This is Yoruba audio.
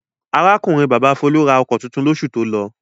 Arákùnrin-bàbá Folú ra ọkọ̀ tuntun lóṣù tó lọ.